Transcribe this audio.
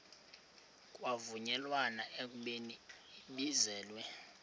kwavunyelwana ekubeni ibizelwe